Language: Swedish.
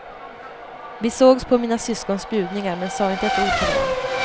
Vi sågs på mina syskons bjudningar men sa inte ett ord till varann.